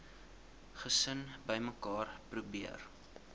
gesin bymekaar probeer